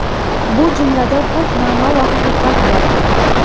Bu jumlada ko‘p ma’no va haqiqat bor.